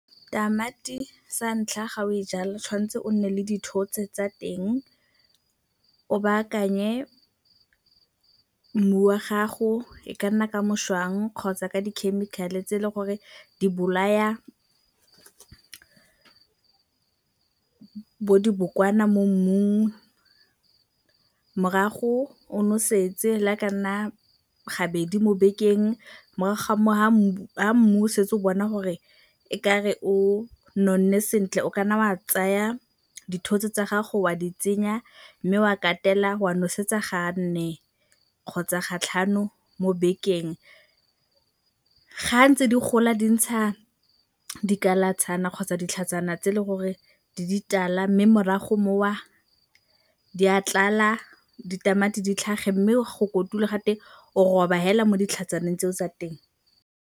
Tamati sa ntlha ga o e jala tshwan'tse o nne le dithotse tsa teng, o baakanye mmu wa gago e ka nna ka mošwang kgotsa ka di-chemical-e tse e leng gore di bolaya bo dibokwana mo mmung. Morago o nosetse le ga e kanna gabedi mo bekeng morago ga foo fa mmu o setse o bona gore e ka re o nonne sentle o kana wa tsaya dithotse tsa gago wa di tsenya, mme wa katela wa nosetsa ga nne kgotsa ga tlhano mo bekeng. Ga ntse di gola di ntsha dikalatshana kgotsa ditlhatsana tse le gore di ditala mme morago foo di a tlala ditamati di tlhage mme go kotula ga teng o roba fela mo ditlhatsaneng tse o tsa teng.